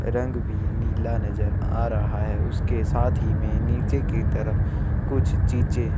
रंग भी नीला नज़र आ रहा है उसके साथ ही में नीचे की तरफ कुछ चीजे--